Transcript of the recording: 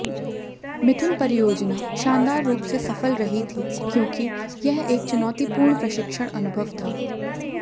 मिथुन परियोजना शानदार रूप से सफल रही थी क्योंकि यह एक चुनौतीपूर्ण प्रशिक्षण अनुभव था